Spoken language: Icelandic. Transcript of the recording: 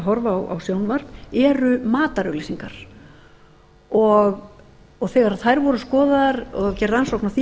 horfa á sjónvarp eru matarauglýsingar og þegar þær voru skoðaðar og gerð rannsókn á því